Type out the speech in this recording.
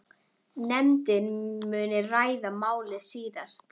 Nefndin muni ræða málið síðar.